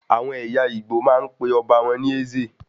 Àwọn ẹyà Igbo máa ń pe ọba wọn ní "Eze"